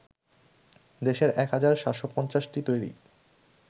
দেশের ১ হাজার ৭৫০টি তৈরী